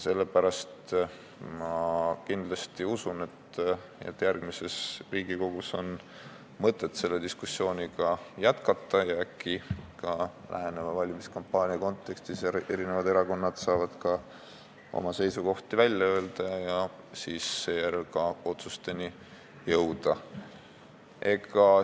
Sellepärast ma usun, et järgmises Riigikogu koosseisus on mõtet seda diskussiooni jätkata ja äkki ka läheneva valimiskampaania kontekstis saavad erakonnad oma seisukohti välja öelda ja lõpuks otsusteni jõuda.